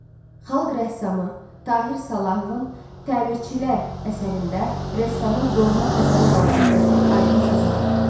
Xalq rəssamı Tahir Salahovun təmirçilər əsərində rəssamın doğma Xəzərə olan sevgisi aydın sezilir.